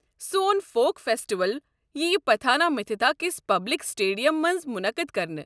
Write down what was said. سون folk festival ییٚہِ پتھانہ مِتھِتا کِس پبلک سٹیڈیم مَنٛز مُنعقد کرنہٕ۔